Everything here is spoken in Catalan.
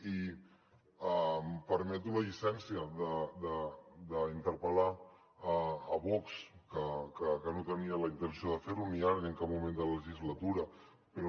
i em permeto la llicència d’interpel·lar vox que no tenia la intenció de fer ho ni ara ni en cap moment de la legislatura però